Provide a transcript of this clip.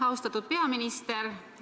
Austatud peaminister!